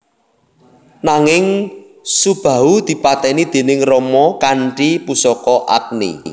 Nanging Subahu dipateni déning Rama kanthi pusaka Agni